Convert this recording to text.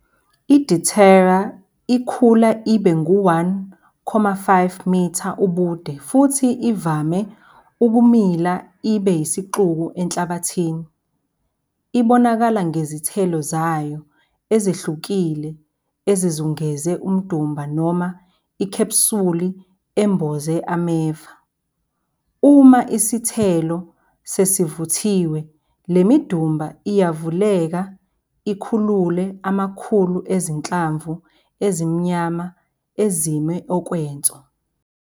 I-Datura ingakhula ibe ngu-1,5 m ubude futhi ivame ukumila ibe yisixuku enhlabathini. Ibonakala ngezithelo zayo ezehlukile ezizungeze umdumba noma ikhephsuli emboze ameva. Uma isithelo sesivuthiwe le midumba iyavuleka ikhulule amakhulu ezinhlamvu ezimnyama ezime okwenso.